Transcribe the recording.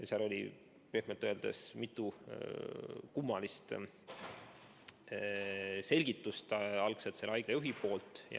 Algselt andis see haigla juht pehmelt öeldes mitu kummalist selgitust.